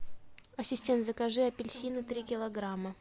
ассистент закажи апельсины три килограмма